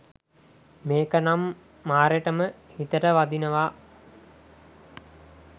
මේක නම් මාරෙටම හිතට වදිනවා.